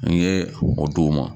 N ye o di u ma